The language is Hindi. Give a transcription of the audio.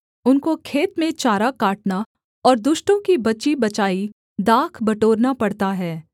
उनको खेत में चारा काटना और दुष्टों की बची बचाई दाख बटोरना पड़ता है